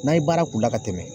N'a ye baara k'u la ka tɛmɛ.